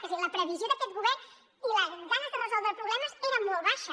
és a dir la previsió d’aquest govern i les ganes de resoldre problemes era molt baixa